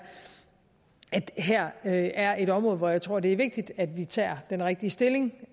at der her er et område hvor jeg tror det er vigtigt at vi tager den rigtige stilling